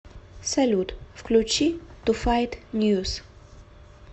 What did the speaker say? салют включи ту файт ньюс